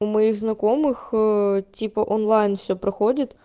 у моих знакомых типа онлайн всё проходит